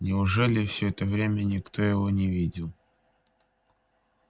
неужели все это время никто его не видел